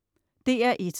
DR1: